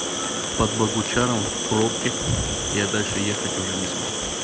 под богучаром в пробке я дальше ехать уже не смог